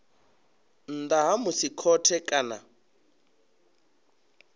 nnḓa ha musi khothe kana